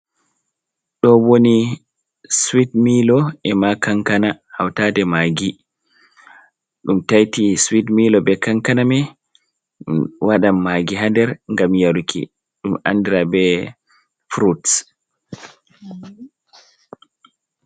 do woni swit milo e ma kankana hautade magi dum taiti swet milo be kankana mai wadan magi hader gam yaruki dum ayndra be fruts